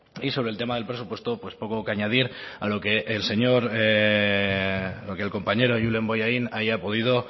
y sobre el tema del presupuesto pues poco que añadir a lo que el señor lo que el compañero julen bollain haya podido